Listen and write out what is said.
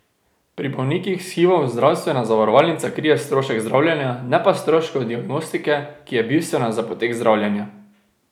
Pri bolnikih s hivom zdravstvena zavarovalnica krije strošek zdravljenja, ne pa stroškov diagnostike, ki je bistvena za potek zdravljenja.